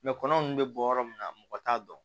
kɔnɔ nunnu bɛ bɔ yɔrɔ min na mɔgɔ t'a dɔn